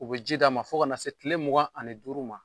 U bi ji d'a ma , fo ka na se kile mugan ani duuru ma.